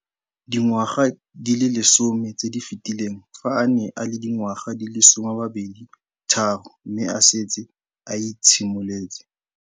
Dingwaga di le 10 tse di fetileng, fa a ne a le dingwaga di le 23 mme a setse a itshimoletse.